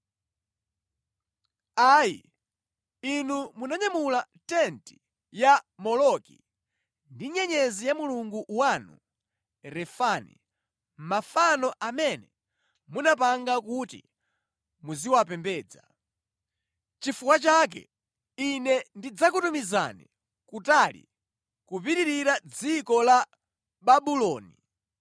Ayi, inu mwanyamula tenti ya Moloki ndi nyenyezi ya mulungu wanu Refani, mafano amene munapanga kuti muziwapembedza. Chifukwa chake, Ine ndidzakutumizani kutali, kupitirira dziko la Babuloni.